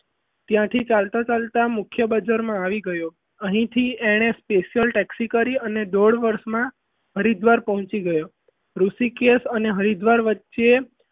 ત્યાંથી ચાલતા ચાલતા મુખ્ય બજારમાં આવી ગયો અહીં થી તેણે special texi કરી અને દોઢ વર્ષમાં હરિદ્વાર પહોંચી ગયો ઋષિકેશ અને હરિદ્વાર વચ્ચે